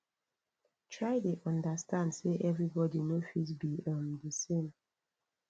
try de understand say everybody no fit be um di same